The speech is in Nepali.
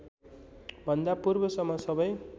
भन्दा पूर्वसम्म सबै